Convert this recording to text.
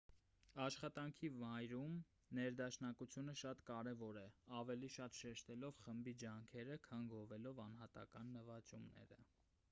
աշխատանքի վայրում ներդաշնակությունը շատ կարևոր է ավելի շատ շեշտելով խմբի ջանքերը քան գովելով անհատական նվաճումները